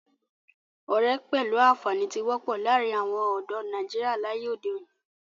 Ọ̀rẹ́ pẹ̀lú àǹfàní tí wọ́pọ̀ láàrin àwon ọ̀dọ́ nàìjíría láyé òde òni